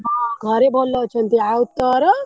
ହଁ ଘରେ ଭଲ ଅଛନ୍ତି ଆଉ ତୋର।